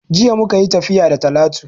Jiya muka yi tafiya da Talatu